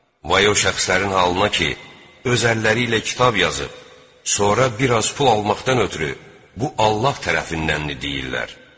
Vay o şəxslərin halına ki, öz əlləri ilə kitab yazıb, sonra biraz pul almaqdan ötrü bu Allah tərəfindəndir deyirlər.